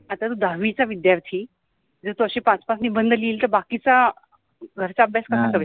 आता तु दहाविचा विद्यार्थि आणी तु अशि पाच पाच निबंध लिहिल तर बाकिचा वरचा अभ्यास कसा करेल.